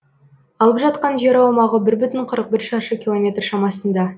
алып жатқан жер аумағы бір бүтін қырық бір шаршы километр шамасында